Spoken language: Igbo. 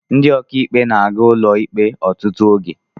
Ndị ọkà ikpe na-aga ụlọ ikpe ọtụtụ oge.